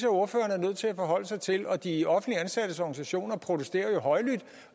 ordføreren er nødt til at forholde sig til de offentligt ansattes organisationer protesterer jo højlydt